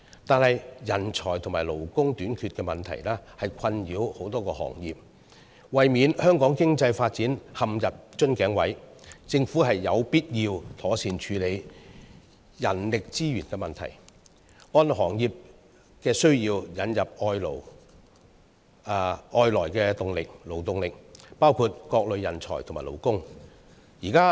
可是，人才和勞工短缺問題困擾多個行業，為免香港的經濟發展陷入瓶頸，政府有必要妥善處理人力資源的問題，按行業需要引入外來勞動力，包括各類人才和勞工。